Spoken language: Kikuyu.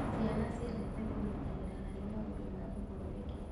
Ciana ciendete kũnyitanĩra harĩ maũndũ ma ũthondeki.